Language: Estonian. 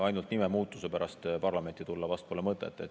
Ainult nimemuutuse pärast parlamenti tulla pole vast mõtet.